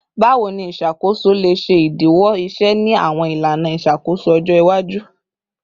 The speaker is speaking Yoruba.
Bawo ni iṣakoso le ṣe idiwọ iṣẹ ni awọn ilana iṣakoso ọjọ iwaju?